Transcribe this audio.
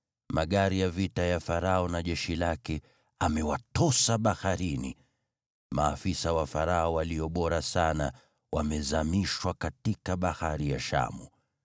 Magari ya vita ya Farao na jeshi lake amewatosa baharini. Maafisa wa Farao walio bora sana wamezamishwa katika Bahari ya Shamu.